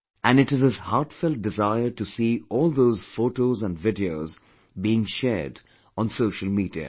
And it is his heart felt desire to see all those photos & videos being shared on social media